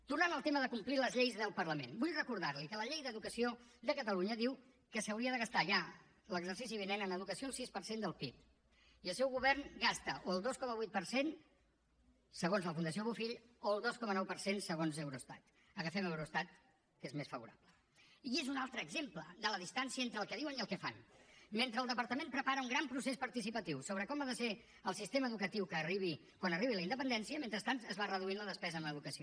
tornant al tema de complir les lleis del parlament vull recordar li que la llei d’educació de catalunya diu que s’hauria de gastar ja l’exercici vinent en educació el sis per cent del pib i el seu govern gasta o el dos coma vuit per cent segons la fundació bofill o el dos coma nou per cent se gons eurostat agafem eurostat que és més favorable i és un altre exemple de la distància entre el que diuen i el que fan mentre el departament prepara un gran procés participatiu sobre com ha de ser el sistema educatiu que arribi quan arribi la independència mentrestant es va reduint la despesa en educació